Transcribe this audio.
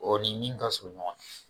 O ni min ka surun ɲɔgɔn na